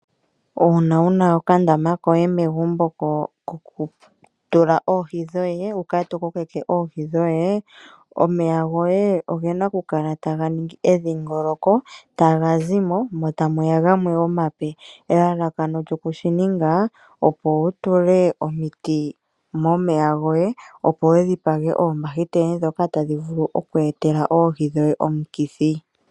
Uuna wuna okandama koye megumbo kokutila oohi dhoye, wu kale to kokeke ohi dhoye, omeya goye ogena okukala taga ningi edhingoloko. Taga zimo mo tamuya gamwe omape. Elalakano lyoku shi ninga, opo wu tule omiti momeya goye opo wu dhipage oombahiteli dhoka tadhi vulu oku etela oohi dhoye omikithi.